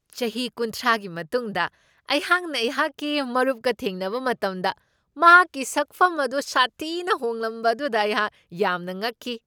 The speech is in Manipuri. ꯆꯍꯤ ꯀꯨꯟꯊ꯭ꯔꯥꯒꯤ ꯃꯇꯨꯡꯗ ꯑꯩꯍꯥꯛꯅ ꯑꯩꯍꯥꯛꯀꯤ ꯃꯔꯨꯞꯀ ꯊꯦꯡꯅꯕ ꯃꯇꯝꯗ ꯃꯍꯥꯛꯀꯤ ꯁꯛꯐꯝ ꯑꯗꯨ ꯁꯥꯊꯤꯅ ꯍꯣꯡꯂꯝꯕ ꯑꯗꯨꯗ ꯑꯩꯍꯥꯛ ꯌꯥꯝꯅ ꯉꯛꯈꯤ꯫